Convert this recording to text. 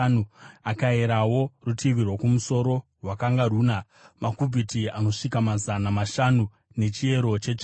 Akayerawo rutivi rwokumusoro; rwakanga runa makubhiti anosvika mazana mashanu nechiyero chetsvimbo.